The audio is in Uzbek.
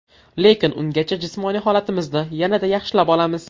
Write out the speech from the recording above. Lekin ungacha jismoniy holatimizni yanada yaxshilab olamiz.